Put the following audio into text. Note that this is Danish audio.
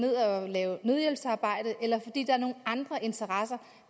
lave nødhjælpsarbejde eller fordi der er nogle andre interesser